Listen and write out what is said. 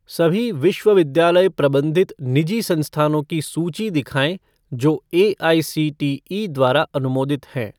सभी विश्वविद्यालय प्रबंधित निजी संस्थानों की सूची दिखाएँ जो एआईसीटीई द्वारा अनुमोदित हैं।